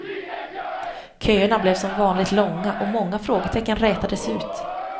Köerna blev som vanligt långa och många frågetecken rätades ut.